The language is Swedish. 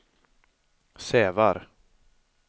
Sävar